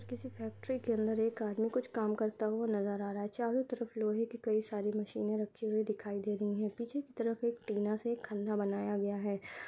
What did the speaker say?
किसी फैक्ट्री के अंदर एक आदमी कुछ काम करता हुआ नजर आ रहा है। चारों तरफ लोहे की कई सारी मशीन रखी हुई दिखाई दे रही हैं। पीछे की तरफ एक टीना से एक खंडा बनाया गया है।